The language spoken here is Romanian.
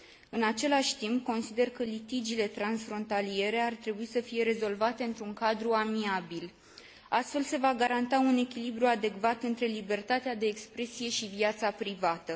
În același timp, consider că litigiile transfrontaliere ar trebui să fie rezolvate într un cadru amiabil. Astfel, se va garanta un echilibru adecvat între libertatea de expresie și viața privată.